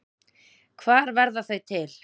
Hvar verða þau til?